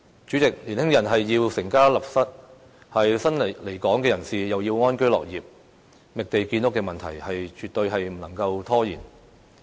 主席，年輕人要成家立室，新來港人士又要安居樂業，覓地建屋的問題絕對不能夠拖延。